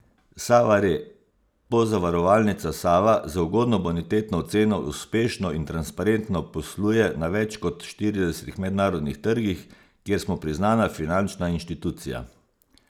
Sava Re: 'Pozavarovalnica Sava z ugodno bonitetno oceno uspešno in transparentno posluje na več kot štiridesetih mednarodnih trgih, kjer smo priznana finančna inštitucija.